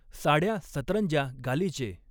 साडय़ा सतरंज्या गालिचे.